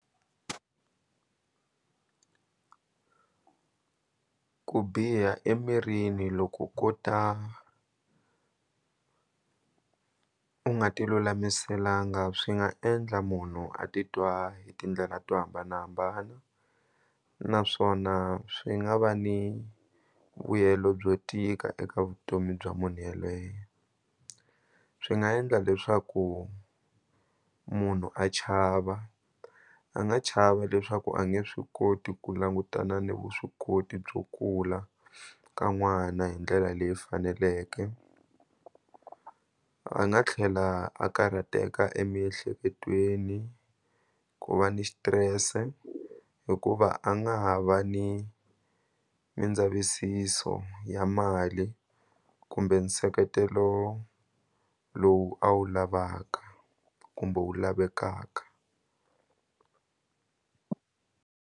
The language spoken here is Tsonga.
Ku biha emirini loko ko ta u nga ti lulamiselanga swi nga endla munhu a titwa hi tindlela to hambanahambana naswona swi nga va ni vuyelo byo tika eka vutomi bya munhu yelweyo swi nga endla leswaku munhu a chava a nga chava leswaku a nge swi koti ku langutana ni vuswikoti byo kula ka n'wana hi ndlela leyi faneleke a nga tlhela a karhateka emiehleketweni ku va ni xitirese hikuva a nga ha va ni nindzavisiso ya mali kumbe nseketelo lowu a wu lavaka kumbe wu lavekaka.